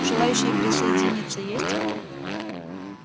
желающие присоединиться есть